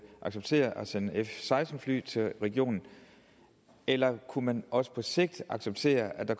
accepterer at sende f seksten fly til regionen eller kunne man også på sigt acceptere at der